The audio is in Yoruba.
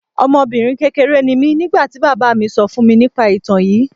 Ọmọbinrin kekere ni mi nigbati baba mi sọ fun mi nipa itan yii